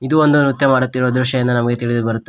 ಇದು ಒಂದು ನೃತ್ಯ ಮಾಡುತ್ತಿರುವ ದೃಶ್ಯ ಇಂದು ನಮಗೆ ತಿಳಿದು ಬರುತ್ತದೆ.